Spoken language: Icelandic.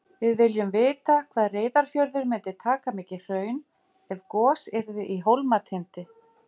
Já, Vetrarbrautin okkar sést frá Íslandi.